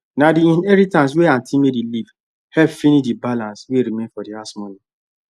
na the inheritance wey aunty mary leave help finish the balance wey remain for the house money